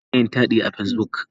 Ana iya yin taɗi a Facebook.